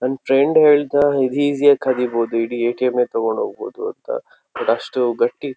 ನನ್ ಫ್ರೆಂಡ್ ಹೇಳ್ದ ಇದು ಇಜ್ಜಿ ಯಾಗಿ ಖಾದಿಬಹುದು ಇಡೀ ಎ ಟಿ ಎಮ್ ಎ ತಗೊಂಡು ಹೋಗ್ಬಹುದು ಅಂತ ಬಟ್ ಅಷ್ಟ್ ಗಟ್ಟಿ. --